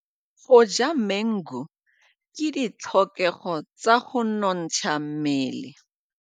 Go ja maungo ke ditlhokegô tsa go nontsha mmele.